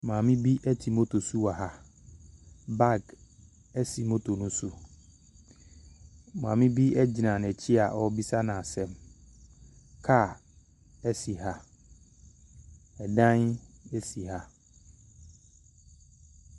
Maame bi te moto so wɔ ha, baage si moto ne so. Maame bi gyina n’akyi a ɔrebisa no asɛm, kaa si ha, dan si ha.